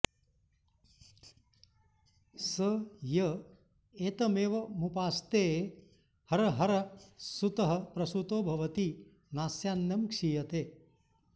स य एतमेवमुपास्तेऽहरहर्ह सुतः प्रसुतो भवति नास्यान्नं क्षीयते